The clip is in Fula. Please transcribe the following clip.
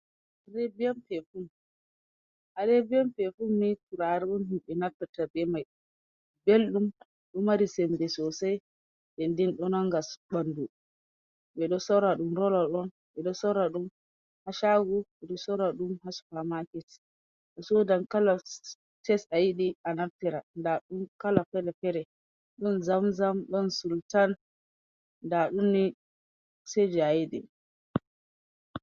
Arebiyan pefun Arabian pefum ni turare on himɓe naffitira be mai belɗum ɗo mari sembe sosai denden ɗo nanga bandu. dsardu rolardon edsaur du h0dh makit da sodon kala ts aid a naffira dadun kala fele fere don zamzam, don sultan, nɗa ɗum se je ayiɗi.